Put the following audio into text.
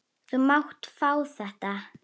Þú mátt fá þetta.